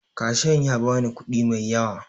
Kashiyan ya ba ni kuɗi mai yawa